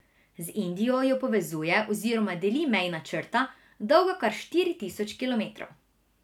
Z Indijo jo povezuje oziroma deli mejna črta, dolga kar štiri tisoč kilometrov.